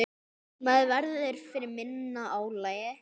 Maður verður fyrir minna álagi.